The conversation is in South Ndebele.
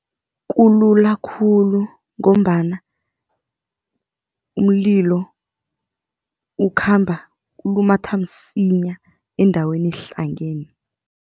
Kulula khulu ngombana umlilo ukhamba ulumathe msinya endaweni ehlangeneko.